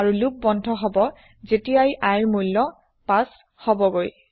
আৰু লোপ বন্ধ হব যেতিয়াই iৰ মূল্য ৫ হবগৈ